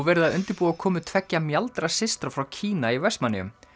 verið að undirbúa komu tveggja frá Kína í Vestmannaeyjum